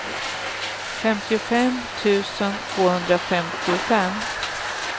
femtiofem tusen tvåhundrafemtiofem